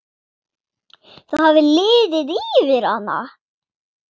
Það hafði liðið yfir hana!